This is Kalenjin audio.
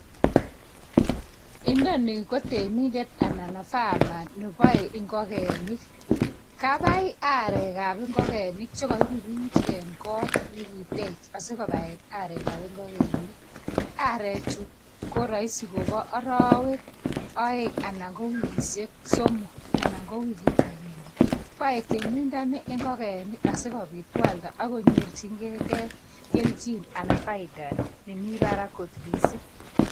Inoni ko temindet ana a farmer neboei ingokenik. Kabai arekab ingokenik che kairuruch eng kot nekikitech asi kobaen arekab ingokenik. Arechu ko soisi kobo arawek oeng anan ko wikishek somok, anan ko wikit agenge. Boei temindani ingokenik asikobit koalda akonyorchingei kelchin anan faida nemi barak kot mising.